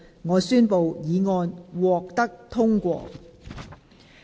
我宣布議案獲得通過。